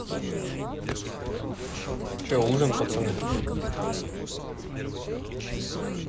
что ужин пацаны